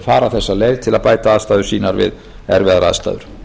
fara þessa leið til að bæta aðstæður sínar við erfiðar aðstæður